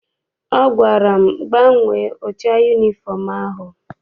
Ọ gwara m, gbanwee ụcha yunifọm ahụ!